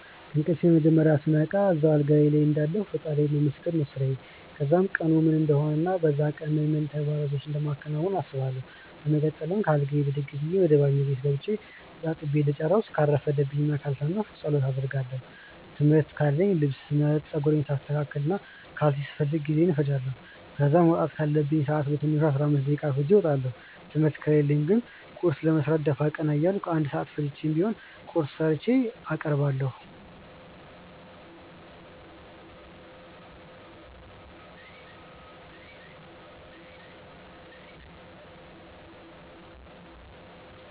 ከእንቅልፌ መጀመርያ ስነቃ እዛው አልጋዬ ልይ እንዳለሁ ፈጣሪን ማመስገን ነው ስራዬ። ከዛም ቀኑ ምን እንደሆነ እና በዛ ቀን ምን ምን ተግባራቶችን እንደማከናውን አስባለው። በመቀጠል ከአልጋዬ ብድግ ብዬ ወደ ባኞ ቤት ገብቼ ተጣጥቤ እንደጨረስኩ ካልረፈደብኝ እና ካልሰነፍኩ ጸሎት አደርጋለው። ትምህርት ካለኝ ልብስ ስመርጥ፣ ጸጉሬን ሳስተካክል፣ ካልሲ ስፈልግ ጊዜዬን እፈጃለው። ከዛ መውጣት ካለብኝ ሰአት በትንሹ 15 ደቂቃ አርፍጄ እወጣለው። ትምህርት ከሌለኝ ግን ቁርስ ለመስራት ደፋ ቀና እያልኩ 1 ሰአት ፈጅቼም ቢሆን ቁርሴን ሰርቼ አቀርባለሁ።